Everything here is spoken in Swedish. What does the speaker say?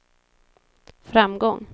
framgång